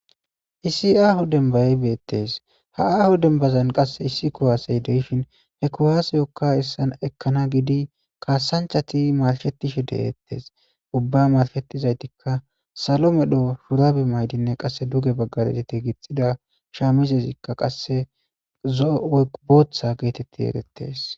Issi aaho dembay bettes ha aaho dembazan qasse issi kuwasse de'shin he kuwassekka ekkana gidi kassanchathi marshetishe dethess. Ubba marshetizayttika sallo medhdho shurabe mayidi qasse dugge bagara gixidi shamizesikka zoo woykko booththa giththeti ereththes.